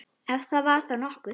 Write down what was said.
Ef það var þá nokkuð.